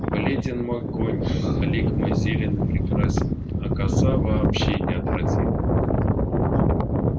бледен мой конь а лик мой зелен и прекрасен а коса вообще неотразима